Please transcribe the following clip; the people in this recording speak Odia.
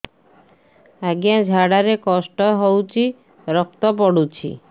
ଅଜ୍ଞା ଝାଡା ରେ କଷ୍ଟ ହଉଚି ରକ୍ତ ପଡୁଛି